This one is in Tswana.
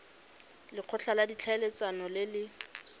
lekgotla la ditlhaeletsano le le